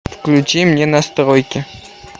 включи мне настройки